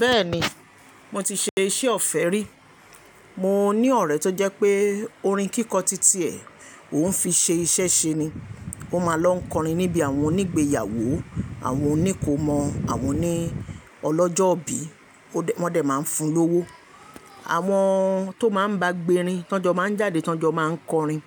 Bẹ́ẹ̀ni, mo ti ṣe iṣẹ́ ọ̀fẹ́ rí. Mo ní ọ̀rẹ́ tó jẹ́ pé orin kíkọ títí ẹ̀ òún fi ṣe iṣẹ́ ṣe ni. Ó máa ń lọ ń kọrin níbí àwọn onígbéyàwó, àwọn oníkòómọ, àwọn òní ọlọ́jọ́ bí. Wọ́n dẹ̀ máa ń fún un lówó. Àwọn tò máa ń bá gbé rin, tó jọ máa ń jáde, tó jọ máa ń kọrin.